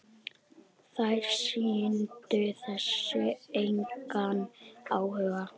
Þær sýndu þessu engan áhuga.